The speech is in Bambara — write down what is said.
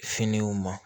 Finiw ma